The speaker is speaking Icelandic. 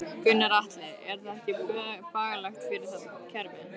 Gunnar Atli: Er það ekki bagalegt fyrir þetta kerfi?